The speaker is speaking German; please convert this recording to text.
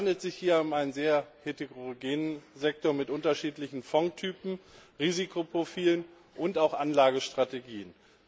Es handelt sich hier um einen sehr heterogenen Sektor mit unterschiedlichen Fondstypen, Risikoprofilen und auch Anlagestrategien.